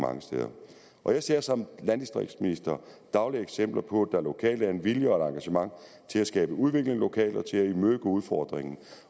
og jeg ser som landdistriktsminister dagligt eksempler på at der lokalt er en vilje og et engagement til at skabe udvikling lokalt og til at imødegå udfordringen